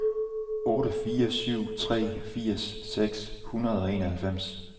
otte fire syv tre firs seks hundrede og enoghalvfems